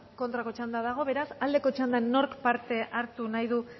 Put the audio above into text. kontrako txanda dago beraz alde txandan nork parte hartu nahi du